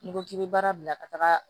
N'i ko k'i bɛ baara bila ka taga